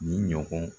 Ni ɲɔgɔn